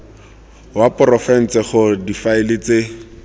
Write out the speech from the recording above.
wa porofense gore difaele tse